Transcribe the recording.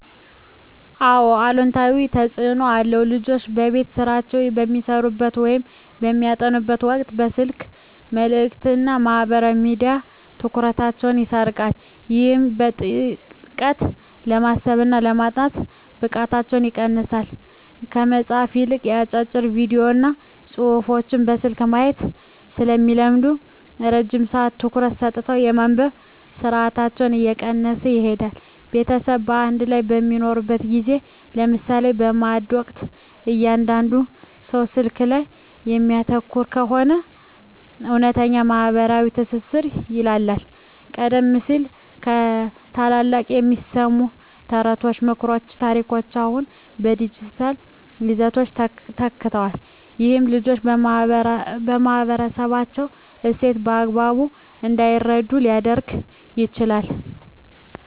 አዎ አሉታዊ ተፅኖ አለው። ልጆች የቤት ሥራቸውን በሚሠሩበት ወይም በሚያጠኑበት ወቅት የስልክ መልእክቶችና ማኅበራዊ ሚዲያዎች ትኩረታቸውን ይሰርቁታል። ይህም በጥልቀት የማሰብና የማጥናት ብቃታቸውን ይቀንሰዋል። ከመጽሐፍት ይልቅ አጫጭር ቪዲዮዎችንና ጽሑፎችን በስልክ ማየት ስለሚለምዱ፣ ረጅም ሰዓት ትኩረት ሰጥቶ የማንበብ ትዕግሥታቸው እየቀነሰ ይሄዳል። ቤተሰብ በአንድ ላይ በሚሆንበት ጊዜ (ለምሳሌ በማዕድ ወቅት) እያንዳንዱ ሰው ስልኩ ላይ የሚያተኩር ከሆነ፣ እውነተኛው ማኅበራዊ ትስስር ይላላል። ቀደም ሲል ከታላላቆች የሚሰሙ ተረቶች፣ ምክሮችና ታሪኮች አሁን በዲጂታል ይዘቶች ተተክተዋል። ይህም ልጆች የማኅበረሰባቸውን እሴት በአግባቡ እንዳይረዱ ሊያደርግ ይችላል።